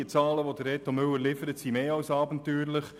Die Zahlen, die Reto Müller liefert, sind mehr als abenteuerlich.